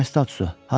Nə statusu?